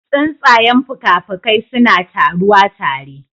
Tsuntsayen fuka-fukai suna taruwa tare